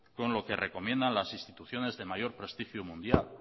con lo que recomiendo las instituciones de mayor prestigio mundial